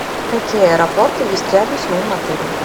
какие аэропорты есть рядом с моим отелем